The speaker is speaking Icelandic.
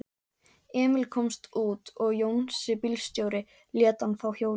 Emil komst út og Jónsi bílstjóri lét hann fá hjólið.